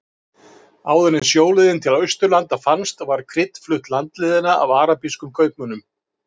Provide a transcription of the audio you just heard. Áður en sjóleiðin til Austurlanda fannst var krydd flutt landleiðina af arabískum kaupmönnum.